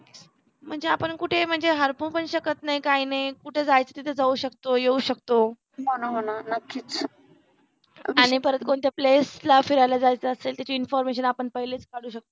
म्हणजे आपण कुठे हरवून पण शकत नाही काही नाही कुठे जायचं तिथे जाऊ शकतो येऊ शकतो आणि परत कोणत्या place ला फिरायला जायचं असेल त्याची information आपण पहिलेच काढू शकतो.